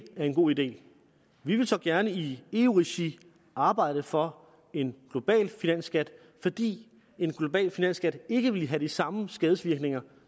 er en god idé vi vil så gerne i eu regi arbejde for en global finansskat fordi en global finansskat ikke ville have de samme skadevirkninger